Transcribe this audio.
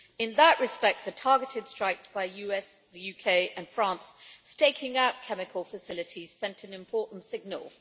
In that respect, the targeted strikes by the US, the UK and France, staking out chemical facilities, sent an important signal.